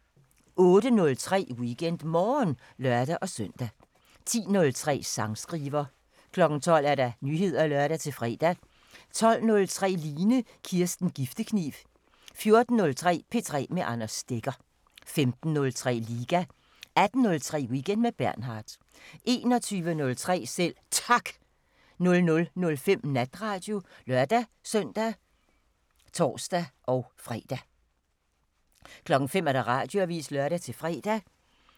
08:03: WeekendMorgen (lør-søn) 10:03: Sangskriver 12:00: Nyheder (lør-fre) 12:03: Line Kirsten Giftekniv 14:03: P3 med Anders Stegger 15:03: Liga 18:03: Weekend med Bernhard 21:03: Selv Tak 00:05: Natradio (lør-søn og tor-fre) 05:00: Radioavisen (lør-fre)